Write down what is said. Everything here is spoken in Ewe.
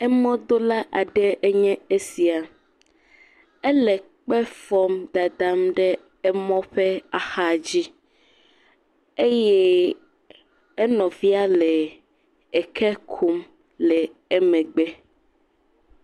Emɔdola aɖe enye esia. Ele kpe fɔm dada ɖe emɔ ƒe axa dzi eye enɔvia le eke kum le emegbe.